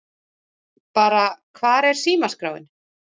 Bara Hvar er símaskráin?